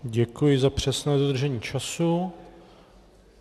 Děkuji za přesné dodržení času.